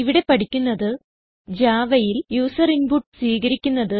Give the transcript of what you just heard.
ഇവിടെ പഠിക്കുന്നത് Javaയിൽ യൂസർ ഇൻപുട്ട് സ്വീകരിക്കുന്നത്